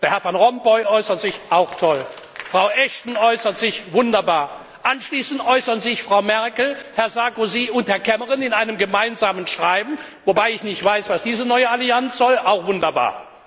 Herr van Rompuy äußert sich auch toll. Frau Ashton äußert sich wunderbar. Anschließend äußern sich Frau Merkel, Herr Sarkozy und Herr Cameron in einem gemeinsamen Schreiben wobei ich nicht weiß, was diese neue Allianz soll auch wunderbar.